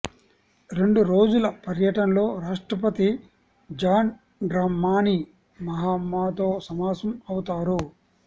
రెండు రోజుల పర్యటనలో రాష్ట్రపతి జాన్ డ్రమాని మహామాతో సమావేశం అవుతారు